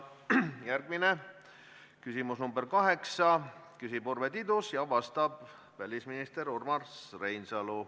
Järgmine küsimus on nr 8, küsib Urve Tiidus ja vastab välisminister Urmas Reinsalu.